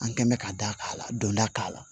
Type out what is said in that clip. An kɛn bɛn bɛ ka da k'a la donda k'a la